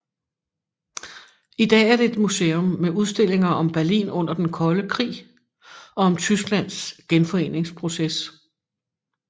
I dag er det et museum med udstillinger om Berlin under den kolde krig og om Tysklands genforeningsproces